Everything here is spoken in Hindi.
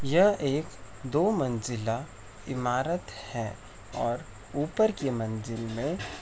यह एक दो मंजिला इमारत है और ऊपर की मंजिल में --